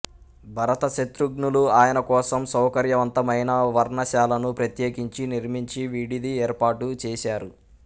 భరత శత్రుఘ్నులు ఆయన కోసం సౌకర్యవంతమైన పర్ణశాలను ప్రత్యేకించి నిర్మించి విడిది ఏర్పాటు చేసారు